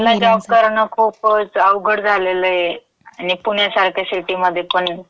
नाईटला जॉब करणं खुपच अवघड झालेलं ये आणि पुण्यासारख्या सिटीमधे पण.